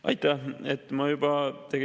Aitäh!